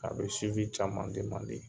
A bɛ caman